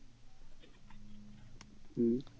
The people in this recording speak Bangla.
হম